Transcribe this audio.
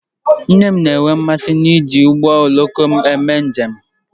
Nne m na-enwe mmasị n'iji ụgbọ oloko eme njem